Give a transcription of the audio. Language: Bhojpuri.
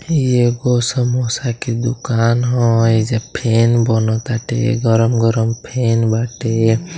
ये एगो समोसा की दुकान ह| एजा फेन बनत आटे गरम गरम फेन बाटे|